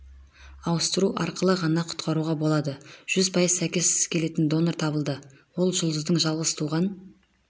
ауыстыру арқылы ғана құтқаруға болады жүз пайыз сәйкес келетін донор табылды ол жұлдыздың жалғыз туған